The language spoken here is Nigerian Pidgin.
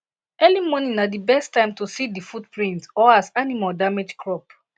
early morning na di best time to see di footprint or as animal damage crop